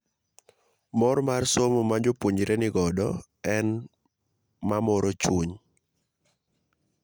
'Mor mar somo majopuonjre nigodo ne en mamoro chuny'